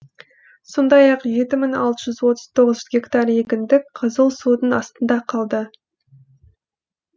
сондай ақ жеті мың алты жүз отыз тоғыз гектар егіндік қызыл судың астында қалды